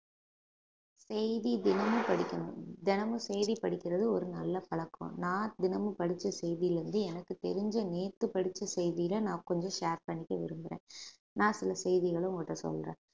செய்தி தினமும் படிக்கணும் தினமும் செய்தி படிக்கிறது ஒரு நல்ல பழக்கம் நான் தினமும் படிச்ச செய்தியிலே இருந்து எனக்கு தெரிஞ்ச நேத்து படிச்ச செய்தியிலே நான் கொஞ்சம் share பண்ணிக்க விரும்புறேன் நான் சில செய்திகளை உங்க கிட்ட சொல்றேன்